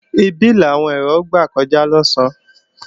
Ibè làwọn èèrà ó gbà kọjá lọ̀sán